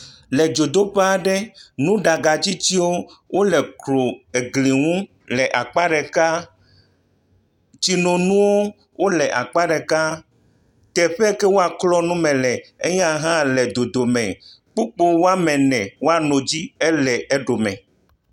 Le dzodoƒe aɖe, nuɖagatsitiwo le egɔo, eglinu le akpa ɖeka. Tsonɔnuwo le akpa ɖeka, teƒe yak e woaklɔ nuwo le, eya hã le akpa ɖeka. Kpukpɔ woame ene woa nɔ edzi ele eɖome.